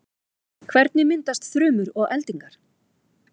hvernig myndast þrumur og eldingar